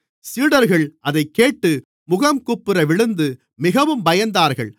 சீடர்கள் அதைக்கேட்டு முகங்குப்புற விழுந்து மிகவும் பயந்தார்கள்